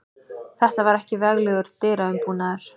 Þetta var ekki veglegur dyraumbúnaður.